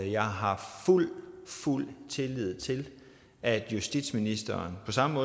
jeg har fuld fuld tillid til at justitsministeren på samme